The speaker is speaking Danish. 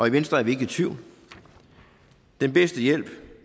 i venstre er vi ikke i tvivl den bedste hjælp